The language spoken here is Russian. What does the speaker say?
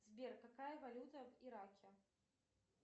сбер какая валюта в ираке